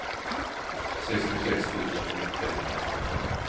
sextiosex tusen trehundrasjutton